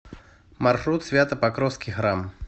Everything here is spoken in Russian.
маршрут свято покровский храм